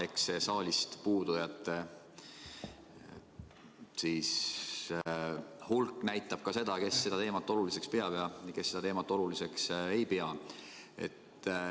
Eks saalist puudujate hulk näitab ka seda, kes seda teemat oluliseks peavad ja kes seda teemat oluliseks ei pea.